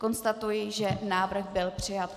Konstatuji, že návrh byl přijat.